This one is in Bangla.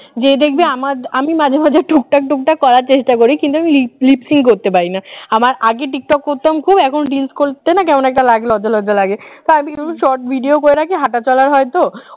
যে দেখবি আমার যে আমি মাঝে মাঝে টুকটাক টুকটাক করার চেষ্টা করি কিন্তু আমি leap sing leap sing করতে পারিনা, আমার আগের টিকটক করতাম খুব এখন reels করতে কেমন একটা লাগে লজ্জা লজ্জা লাগে short video করে রাখি হাঁটা চলার হয়তো